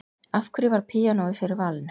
Af hverju varð píanóið fyrir valinu?